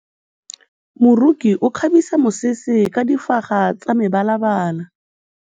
Moroki o kgabisa mesese ka difaga tsa mebalabala.